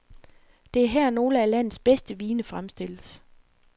Det er her, nogle af landets bedste vine fremstilles.